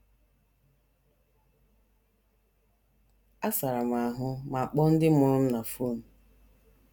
Asara m ahụ ma kpọọ ndị mụrụ m na fon. ”